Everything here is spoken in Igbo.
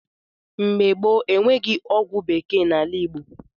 Mgbe gboo, enweghị ọgwụ bekee n’ala Igbo.